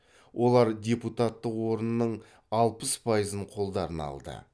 олар депутаттық орынның алпыс пайызын қолдарына алды